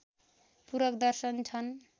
पूरक दर्शन छन्